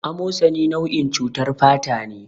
A mosani nau'in cutar fatane